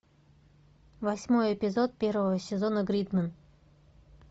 восьмой эпизод первого сезона гридмен